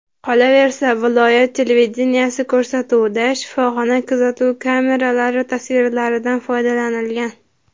Qolaversa viloyat televideniyesi ko‘rsatuvida shifoxona kuzatuv kameralari tasvirlaridan foydalanilgan.